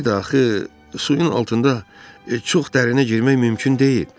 Bir də axı suyun altında çox dərinə girmək mümkün deyil.